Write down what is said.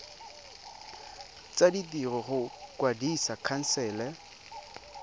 tsa ditiro go kwadisa khansele